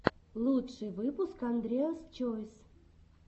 лучший выпуск андреас чойс